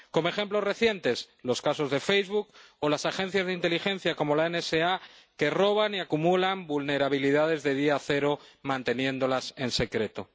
Como ejemplos recientes, están los casos de Facebook o las agencias de inteligencia, como la NSA, que roban y acumulan vulnerabilidades de día cero, manteniéndolas en secreto.